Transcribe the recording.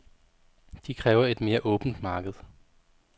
De kræver et mere åbent marked.